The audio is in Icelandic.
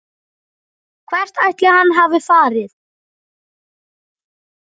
Hvert ætli hann hafi farið?